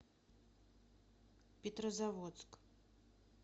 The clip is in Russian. петрозаводск